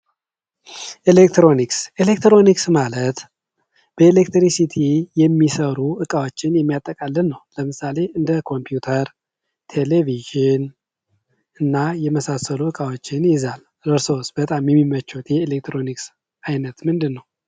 ኤሌክትሮኒክስ ኤሌክትሮኒክስ ማለት በኤሌትሪክ ሲቲ የሚሰሩ እቃዎችን የሚያጠቃልል ነው ለምሳሌ እንደ ኮምፒውተር ቴለቪዥን እና የመሳሰሉ እቃዎችን ይይዛል እርስዎስ በጣም የሚመቸዎት የኤሌክትሮኒክስ አይነት ነው።